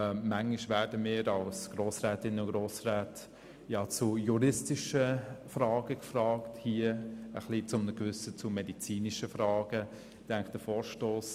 Manchmal sind wir als Grossrätinnen und Grossräte in juristischen Fragen und hier zu medizinischen Fragen gefragt.